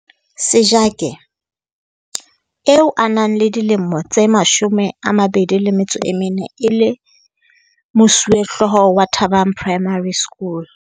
Sejake, eo a nang le dilemo tse 24 e le mosuwehlooho wa Thabang Primary.